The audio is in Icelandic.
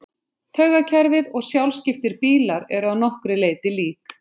Taugakerfið og sjálfskiptir bílar eru að nokkru leyti lík.